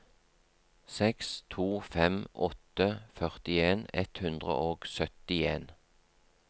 seks to fem åtte førtien ett hundre og syttien